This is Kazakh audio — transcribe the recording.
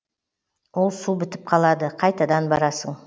ол су бітіп қалады қайтадан барасың